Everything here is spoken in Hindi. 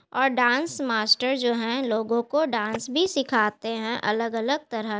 और डांस मास्टर जो है लोगों को डांस भी सिखाते हैं अलग-अलग तरह।